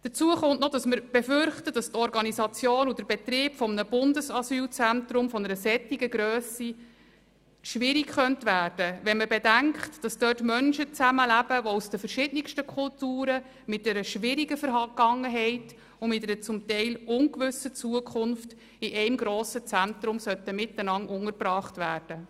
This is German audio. Wir fürchten zudem auch, dass die Organisation und der Betrieb eines Bundesasylzentrums von solcher Grösse schwierig würden, wenn man bedenkt, dass dort Menschen, die aus den verschiedensten Kulturen, mit schwieriger Vergangenheit und zum Teil ungewisser Zukunft in einem grossen Zentrum zusammen untergebracht würden.